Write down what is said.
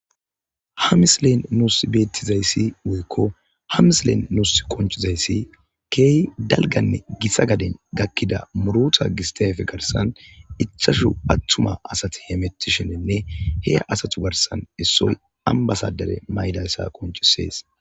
ha mislen nuus beettizayssi woykko ha mislen nuus qonchizayssi keey dalganne gissa gaden gakkida muruta gistefe garsan icchashu phattuma asati hemetishenenne he asatu garsan issoy ambasadare maydayssa qoncisees